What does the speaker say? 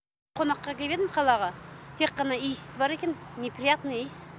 қонаққа келіп едім қалаға тек қана иіс бар екен не приятный иіс